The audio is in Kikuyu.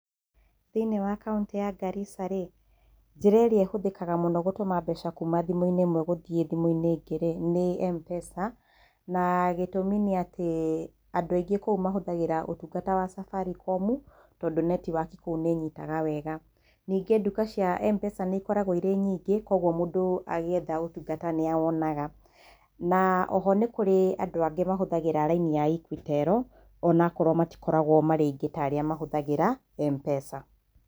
Thĩ-inĩ wa kaũntĩ ya Garissa-rĩ, njĩra ĩrĩa ĩhũthĩkaga mũno gũtũma mbeca kuma thimũ-inĩ ĩmwe gũthiĩ thimũ-inĩ ĩngĩ-rĩ, nĩ M-Pesa, na gĩtũmi nĩ atĩ andũ aingĩ kou mahũthagĩra ũtungata wa Safaricom, tondũ netiwaki kou nĩ ĩnyitaga wega. Ningĩ duka cia M-Pesa nĩ ikoragwo irĩ nyingĩ, koguo mũndũ agĩetha ũtungata nĩ awonaga. Na oho nĩ kũrĩ andũ angĩ mahũthagĩra raini ya Equitel, o na okorwo matikoragwo marĩ aingĩ ta arĩa mahũthagĩra M-Pesa.